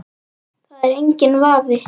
Það er enginn vafi.